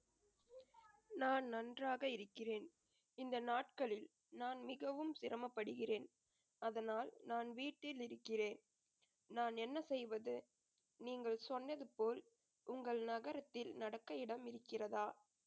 நான் நன்றாக இருக்கிறேன் இந்த நாட்களில் நான் மிகவும் சிரமப்படுகிறேன் அதனால் நான் வீட்டில் இருக்கிறேன் நான் என்ன செய்வது நீங்கள் சொன்னது போல் உங்கள நகரத்தில் நடக்க இடம் இருக்கிறதா